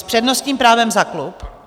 S přednostním právem za klub?